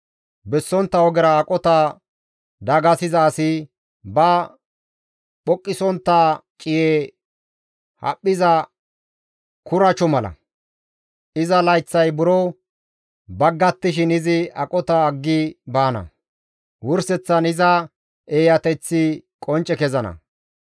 Bessontta ogera aqota dagasiza asi ba phuqisontta ciye haphphiza kuracho mala. Iza layththay buro baggattishin izi aqota aggi baana; wurseththan iza eeyateththi qoncce kezana.